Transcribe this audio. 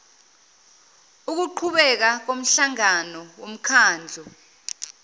ukuqhubeka komhlangano womkhandlu